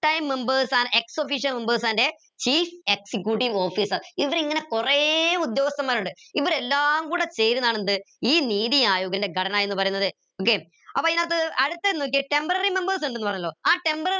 members are ex official members and chief executive officer ഇതിൽ ഇങ്ങനെ കുറേ ഉദ്യോഗസ്ഥന്മാർ ഉണ്ട് ഇവരെല്ലാം കൂടെ ചേരുന്നതാണ് എന്ത് ഈ നീതി ആയോഗിന്റെ ഘടന എന്ന് പറയുന്നത് okay ആപ്പോ ഇതിനകത്ത് അടുത്ത നോക്കിയേ temporary members ണ്ട് ന്ന് പറയുന്നു ആ temporary